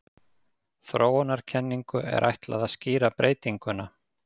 Þróunarkenningu er ætlað að skýra breytinguna.